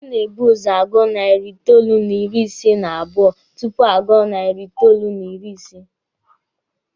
A na-ebu ụzọ agụ narị itoolu n'ịrị ise n'abụọ tupu a gụọ nari itoolu n'ịrị ise.